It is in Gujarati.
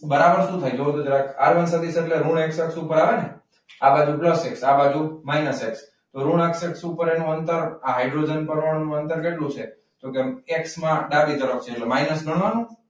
બરાબર શું થાય જુઓ તો જરાક આરવન સદીસ એટલે હું એક્સ અક્ષ પર આવે ને? આ બાજુ પ્લસ એક્સ આ બાજુ માઇનસ એક્સ ઋણ અક્ષ પર એનું અંતર હાઇડ્રોજન અક્ષ પર એનું અંતર કેટલું છે? તો કે એક્સમા ડાબી તરફ છે એટલે માઇનસ ગણવાનું.